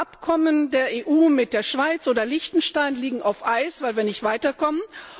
Abkommen der EU mit der Schweiz oder Liechtenstein liegen auf Eis, weil wir nicht weiterkommen.